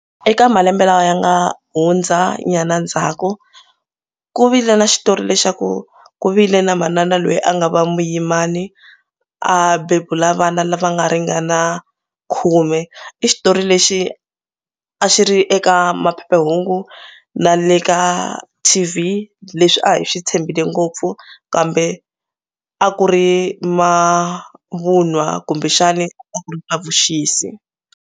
Eka malembe lawa ya nga hundzanyana ndzhaku ku vile na xitori lexaku ku vile na manana loyi a nga va muyimani a bebula vana lava nga ringana khume. I xitori lexi a xi ri eka maphephahungu na le ka T_V leswi a hi swi tshembile ngopfu kambe a ku ri mavunwa kumbexani a ku ri na vuxisi.